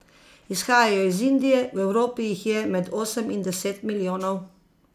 Izhajajo iz Indije, v Evropi jih je med osem in deset milijonov.